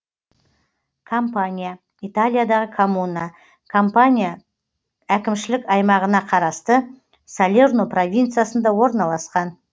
кампанья италиядағы коммуна кампания кампания әкімшілік аймағына қарасты салерно провинциясында орналасқан